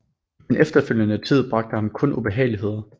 Den efterfølgende tid bragte ham kun ubehageligheder